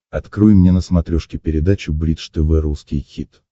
открой мне на смотрешке передачу бридж тв русский хит